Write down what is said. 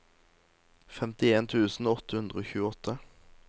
femtien tusen åtte hundre og tjueåtte